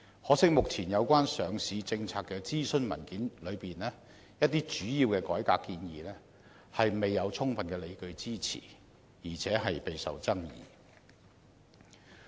可惜，目前有關上市政策的諮詢文件中，一些主要的改革建議未有充分的理據支持，而且備受爭議。